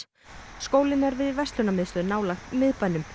skólinn er við verslunarmiðstöð nálægt miðbænum